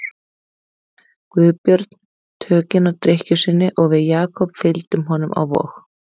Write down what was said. Guðbjörn tökin á drykkju sinni og við Jakob fylgdum honum á Vog.